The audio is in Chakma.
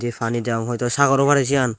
pani jum hoito sagoro pani siyan.